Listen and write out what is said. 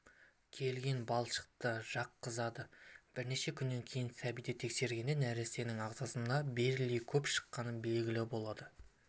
келген балшықты жаққызады бірнеше күннен кейін сәбиді тексергенде нәрестенің ағзасынан бериллий көп шыққаны белгілі болады